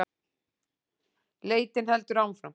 Leitin heldur áfram